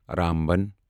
Ramban